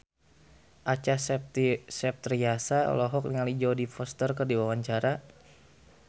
Acha Septriasa olohok ningali Jodie Foster keur diwawancara